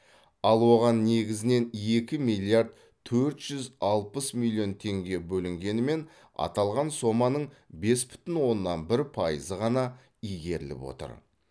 ал оған негізінен екі миллиард төрт жүз алпыс миллион теңге бөлінгенімен аталған соманың бес бүтін оннан бір пайызы ғана игеріліп отыр